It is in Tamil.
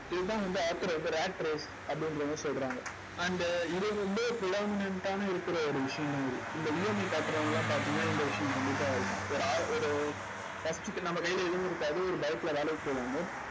இதுதான் வந்து அப்படின்றவங்க சொல்றாங்க and இது வந்து ஆன இருக்கிற ஒரு விஷயம் மாதிரி. இந்த EMI கட்டுறவங்க எல்லாம் பார்த்தீங்கன்னா இந்த விஷயம் கண்டிப்பா இருக்கும். ஒரு ஒரு first க்கு நம்ம கையிலே எதுவும் இருக்காது. ஒரு bike ல வேலைக்கு போவாங்க